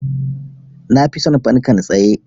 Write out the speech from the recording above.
Na fi son fankan tsaye.